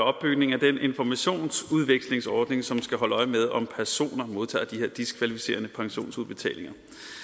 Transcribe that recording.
opbygning af den informationsudvekslingsordning som skal holde øje med om personer modtager de her diskvalificerende pensionsudbetalinger